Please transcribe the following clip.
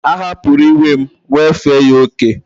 A hapuru iwe m,wefe ya oke